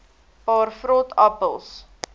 paar vrot appels